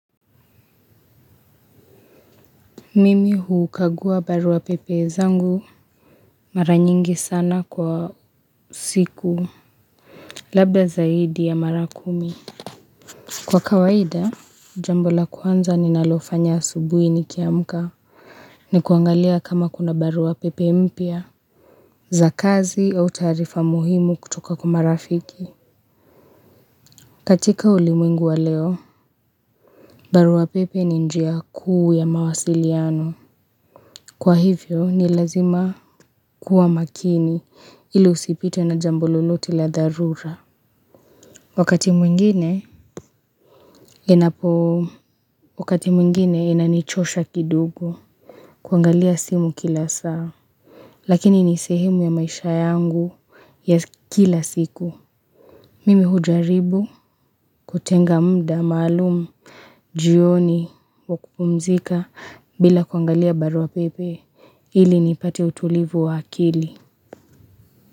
Mimi hukagua barua pepe zangu mara nyingi sana kwa siku. Labda zaidi ya mara kumi. Kwa kawaida, jambo la kwanza ninalofanya asubuhi niki amka. Ni kuangalia kama kuna barua pepe mpya. Za kazi au taarifa muhimu kutoka kwa marafiki. Katika ulimwengu wa leo. Barua pepe ni njia kuu ya mawasiliano. Kwa hivyo, ni lazima kuwa makini ili usipitwe na jambo lolote la dharura. Wakati mwingine, inapo wakati mwingine inanichosha kidogo. Kuangalia simu kila saa. Lakini ni sehemu ya maisha yangu ya kila siku. Mimi hujaribu kutenga muda maalum. Jioni wa kupumzika bila kuangalia barua pepe. Ili nipate utulivu wa akili.